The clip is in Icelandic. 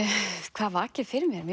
hvað vakir fyrir mér ég